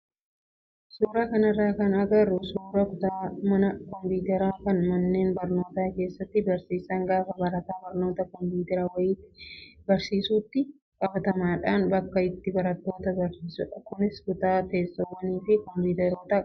Suuraa kanarraa kan agarru suuraa kutaa mana kompiitaraa kan manneen barnootaa keessatti barsiisaan gaafa barataa barnoota kompiitaraa wayitii barsiisutti qabatamaadhaan bakka itti barattoota barsiisudha. Kunis kutaa teessoowwanii fi kompiitaroota qabudha.